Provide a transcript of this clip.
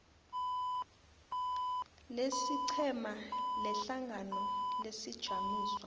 lesiqhema lehlangano lesijamiso